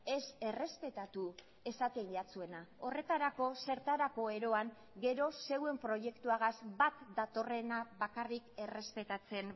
ez errespetatu esaten jatzuena horretarako zertarako eroan gero zeuen proiektuagaz bat datorrena bakarrik errespetatzen